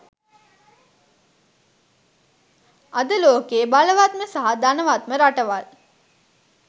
අද ලෝකයේ බලවත්ම සහ ධනවත්ම රටවල්